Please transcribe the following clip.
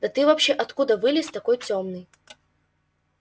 да ты вообще откуда вылез такой тёмный